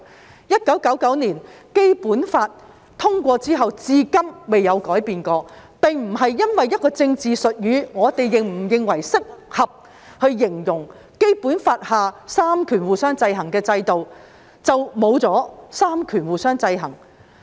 自1990年《基本法》通過後，至今從沒有改變，這並不是一個政治術語，不會因為我們認為是否適合以此形容《基本法》下三權互相制衡的制度，便沒有了三權互相制衡。